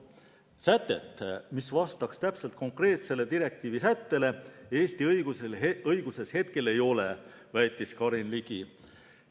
Sätet, mis vastaks täpselt konkreetsele direktiivi sättele, Eesti õiguses hetkel ei ole, väitis Karin Ligi.